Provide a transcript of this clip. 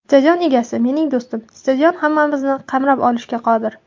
Stadion egasi mening do‘stim, stadion hammamizni qamrab olishga qodir.